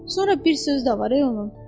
Sonra bir söz də var onun.